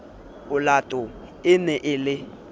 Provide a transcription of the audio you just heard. olato e ne e le